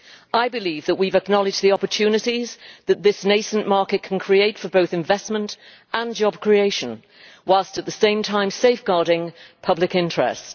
me. I believe that we have acknowledged the opportunities that this nascent market can create for both investment and job creation, whilst at the same time safeguarding public interest.